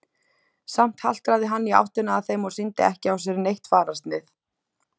Samt haltraði hann í áttina að þeim og sýndi ekki á sér neitt fararsnið.